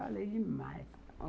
Falei demais.